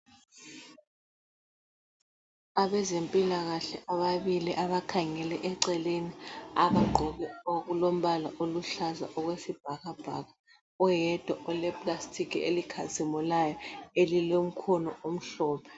Abezempilakahle ababili abakhangele eceleni abagqoke okulombala oluhlaza okwesibhakabhaka oyedwa uleplastiki elikhazimulayo elilomkhono omhlophe.